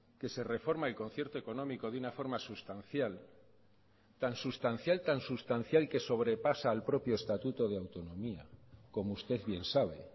que se reforma el concierto económico de una forma sustancial tan sustancial tan sustancial que sobrepasa al propio estatuto de autonomía como usted bien sabe